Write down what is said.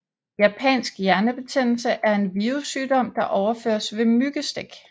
Japansk hjernebetændelse er en virussygdom der overføres ved myggestik